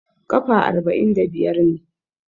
Kafa arba'in da biyar ne.